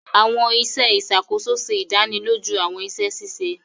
Awọn iṣẹ ìṣàkóso ṣe ìdánilójú awọn iṣẹ ṣiṣe